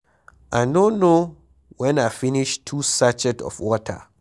I no know wen I finish two sachet of water.